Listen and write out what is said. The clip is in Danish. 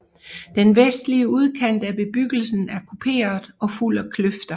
Den vestlige udkant af bebyggelsen er kuperet og fuld af kløfter